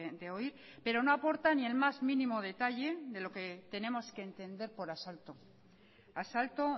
de oír pero no aporta ni el más mínimo detalle de lo que tenemos que entender por asalto asalto